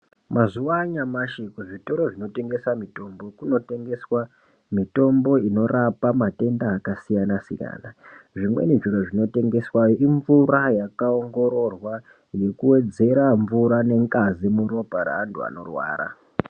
Mazuwa anyamashi zvitoro zvinotengesa mutombo kunotengeswa mitombo inorapa matenda akasiyana siyana zvimweni zviro zvinotengeswa imvura yakaongororwa yekuwedzera mvura nengazi muropa raantu anorwara.